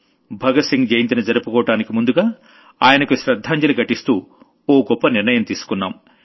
భగత్ సింగ్ జయంతిని జరుపుకోవడానికి ముందుగా ఆయనకు శ్రద్ధాంజలి ఘటిస్తూ ఓ గొప్ప నిర్ణయం తీసుకున్నాం